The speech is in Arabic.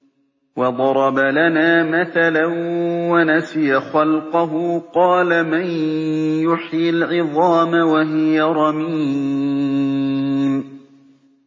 وَضَرَبَ لَنَا مَثَلًا وَنَسِيَ خَلْقَهُ ۖ قَالَ مَن يُحْيِي الْعِظَامَ وَهِيَ رَمِيمٌ